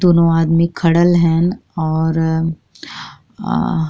दोनों आदमी खडल हन और अ --